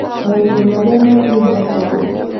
Maũndũ maria mathingatagwo